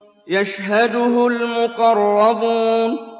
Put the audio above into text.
يَشْهَدُهُ الْمُقَرَّبُونَ